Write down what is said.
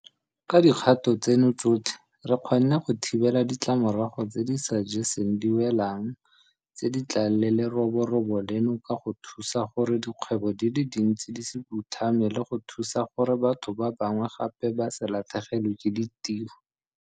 Ka dikgato tseno tsotlhe re kgonne go thibela ditlamorago tse di sa jeseng diwelang tse di tlang le leroborobo leno ka go thusa gore dikgwebo di le dintsi di se phutlhame le go thusa gore batho ba bangwe gape ba se latlhegelwe ke ditiro.